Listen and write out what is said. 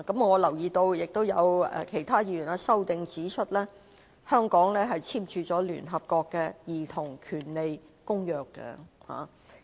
我留意到，有其他議員在修正案指出，香港簽署了聯合國《兒童權利公約》。